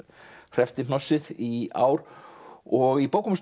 hreppti hnossið í ár og í bókum